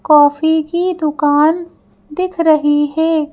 Coffee की दुकान दिख रही है।